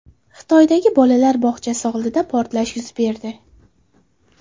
Xitoydagi bolalar bog‘chasi oldida portlash yuz berdi.